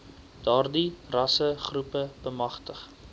daardie rassegroepe bemagtig